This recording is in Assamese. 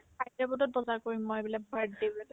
তাতে বোলে বজাৰ কৰিম মই বোলে birthday ৰ বজাৰ